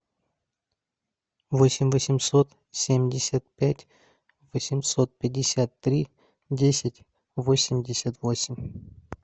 восемь восемьсот семьдесят пять восемьсот пятьдесят три десять восемьдесят восемь